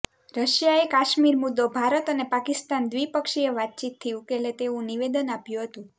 રશિયાએ કાશ્મીર મુદ્દો ભારત અને પાકિસ્તાન દ્રિપક્ષીય વાતચીતથી ઉકેલે તેવુ નિવેદન આપ્યુ હતુ